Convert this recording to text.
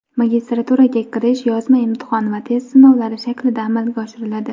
Magistraturaga kirish yozma imtihon va test sinovlari shaklida amalga oshiriladi.